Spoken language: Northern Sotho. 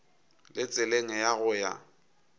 le tseleng ya go ya